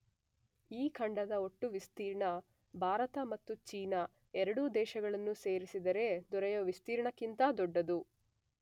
ಈ ಖಂಡದ ಒಟ್ಟು ವಿಸ್ತೀರ್ಣ ಭಾರತ ಮತ್ತು ಚೀನ ಎರಡೂ ದೇಶಗಳನ್ನು ಸೇರಿಸಿದರೆ ದೊರೆಯುವ ವಿಸ್ತೀರ್ಣಕ್ಕಿಂತ ದೊಡ್ಡದು